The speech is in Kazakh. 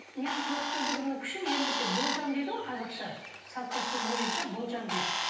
менің көріпкелдігімнің күші болжам дейді ғой қазақша салт дәстүр бойынша болжам дейді